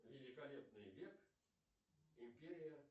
великолепный век империя